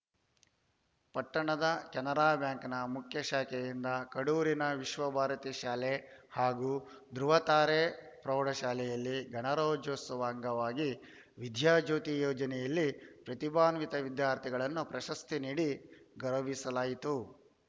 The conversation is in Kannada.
ಪಟ್ಟಣದ ಕೆನರಾ ಬ್ಯಾಂಕ್‌ ಮುಖ್ಯ ಶಾಖೆಯಿಂದ ಕಡೂರಿನ ವಿಶ್ವಭಾರತಿ ಶಾಲೆ ಹಾಗೂ ಧೃವತಾರೆ ಪ್ರೌಢಶಾಲೆಯಲ್ಲಿ ಗಣರಾಜ್ಯೋತ್ಸವ ಅಂಗವಾಗಿ ವಿದ್ಯಾಜ್ಯೋತಿ ಯೋಜನೆಯಲ್ಲಿ ಪ್ರತಿಭಾನ್ವಿತ ವಿದ್ಯಾರ್ಥಿಗಳನ್ನು ಪ್ರಶಸ್ತಿ ನೀಡಿ ಗೌರವಿಸಲಾಯಿತು